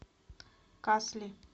касли